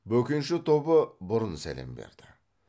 бөкенші тобы бұрын сәлем берді